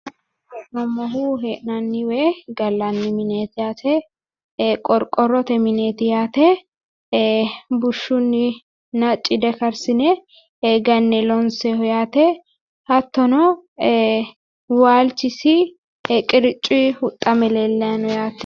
La'nayi hee'noommohu hee'nanni woy gallanni mineeti yaate qorqorrote mineeti yaate ee bushshunninna cide karsine ganne loonsooyiiho yaate hattono ee waalchisi qiriccuyi huxxame leellayi no yaate